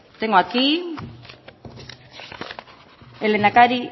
tengo aquí